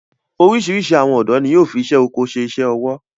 Orísirísi àwọn ọ̀dọ́ ni yóò fi isé oko ṣe iṣẹ ọwọ